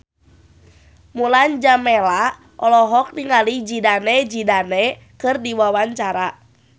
Mulan Jameela olohok ningali Zidane Zidane keur diwawancara